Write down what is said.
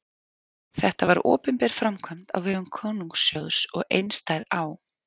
Þetta var opinber framkvæmd á vegum konungssjóðs og einstæð á